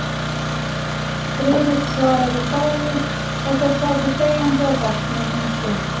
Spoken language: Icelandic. Friðrik svaraði fáu, og þeir sátu þegjandi á bekknum um stund.